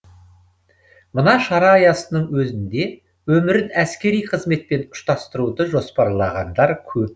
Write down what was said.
мына шара аясының өзінде өмірін әскери қызметпен ұштастыруды жоспарлағандар көп